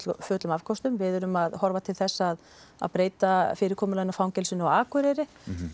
fullum afköstum við erum að horfa til þess að að fyrirkomulaginu á fangelsinu á Akureyri